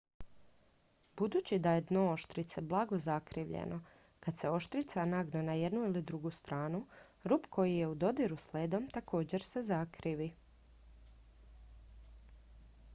budući da je dno oštrice blago zakrivljeno kad se oštrica nagne na jednu ili drugu stranu rub koji je u dodiru s ledom također se zakrivi